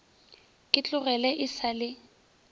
ke tloge e sa le